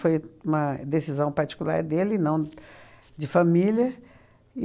Foi uma decisão particular dele, não de família.